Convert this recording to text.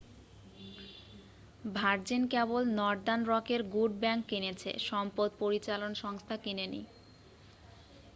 virgin কেবল northern রকের good bank' কিনেছে সম্পদ পরিচালন সংস্থা কিনেনি